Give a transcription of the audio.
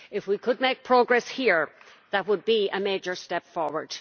If we could make progress here, that would be a major step forward.